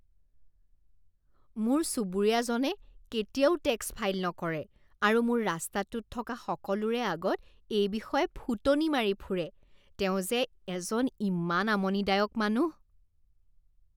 মোৰ চুবুৰীয়াজনে কেতিয়াও টেক্স ফাইল নকৰে আৰু মোৰ ৰাস্তাটোত থকা সকলোৰে আগত এই বিষয়ে ফুটনি মাৰি ফুৰে। তেওঁ যে এজন ইমান আমনিদায়ক মানুহ।